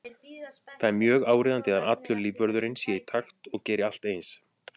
Það er mjög áríðandi að allur lífvörðurinn sé í takt og geri allt eins.